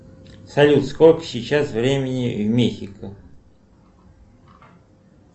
салют сколько сейчас времени в мехико